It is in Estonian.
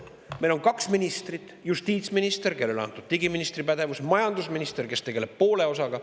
Meil on kaks ministrit: justiitsminister, kellele on antud ka digiministri pädevus, ja majandusminister, kes tegeleb poolega.